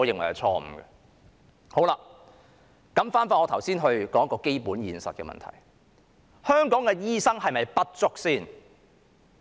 回到我剛才提出的一個基本現實的問題：香港的醫生是否不足？